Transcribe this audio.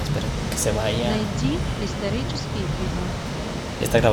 найди исторические фильмы